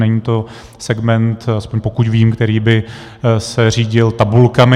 Není to segment, aspoň pokud vím, který by se řídil tabulkami.